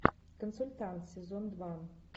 консультант сезон два